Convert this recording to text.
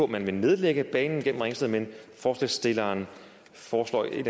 man vil nedlægge banen gennem ringsted men forslagsstilleren foreslår en